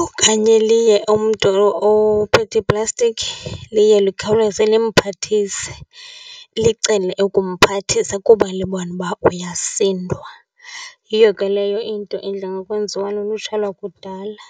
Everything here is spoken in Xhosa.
Okanye liye umntu ophethe iplastikhi, liye lukhawuleze limphathise, licele ukumphathisa kuba libona uba uyasindwa. Yiyo ke leyo into edla ngokwenziwa lulutsha lwakudala